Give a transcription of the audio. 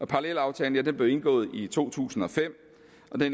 parallelaftale der blev indgået i to tusind og fem